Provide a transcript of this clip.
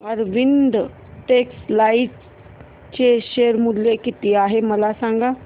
Arvind textile चे share मूल्य किती आहे मला सांगा